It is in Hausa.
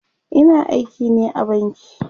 Ina aiki ne a banki